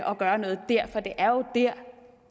og gøre noget dér for det er jo dér